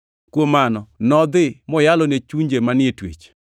Kuom mano, nodhi moyalo ne chunje manie twech,